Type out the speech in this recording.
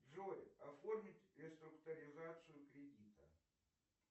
джой оформить реструктуризацию кредита